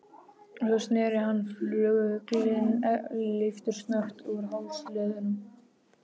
Svo sneri hann fuglinn leiftursnöggt úr hálsliðnum.